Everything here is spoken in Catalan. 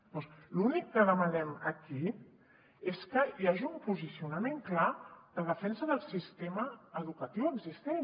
llavors l’únic que demanem aquí és que hi hagi un posicionament clar de defensa del sistema educatiu existent